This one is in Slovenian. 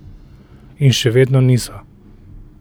In še vedno niso.